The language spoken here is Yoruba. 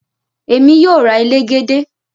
Emi yoo ra elegede tomorrow